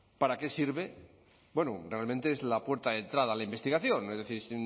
para qué sirve bueno realmente es la puerta de entrada a la investigación es decir